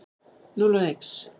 Núll og nix.